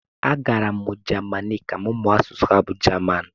agara m Jamanị ka m mụọ asụsụ ha bụ jaman